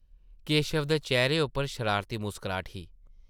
केशव दे चेह्रे उप्पर शरारती मुस्कराह्ट ही ।